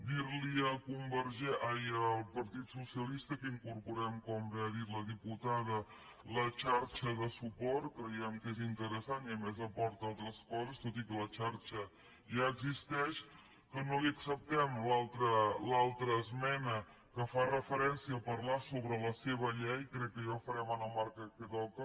dir li al partit socialista que incorporem com bé ha dit la diputada la xarxa de suport creiem que és interessant i a més aporta altres coses tot i que la xarxa ja existeix que no li acceptem l’altra esmena que fa referència a parlar sobre la seva llei crec que ja ho farem en el marc que toca